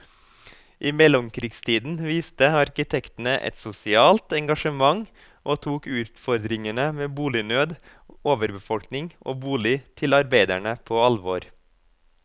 I mellomkrigstiden viste arkitektene et sosialt engasjement og tok utfordringene med bolignød, overbefolkning og bolig til arbeiderne på alvor.